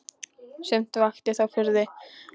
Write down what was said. Sumt vakti þó furðu.